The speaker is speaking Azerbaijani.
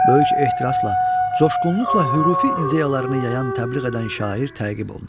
Böyük ehtirasla, coşğunluqla hürufi ideyalarını yayan, təbliğ edən şair təqib olunur.